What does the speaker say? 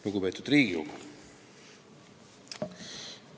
Lugupeetud Riigikogu!